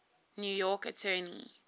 new york attorney